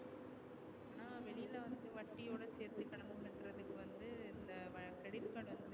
வட்டியோட சேர்த்து கடன் செலுத்தறதுக்கு வந்து இந்த creditcard